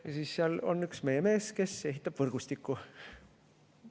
Ja siis seal on üks meie mees, kes ehitab võrgustikku.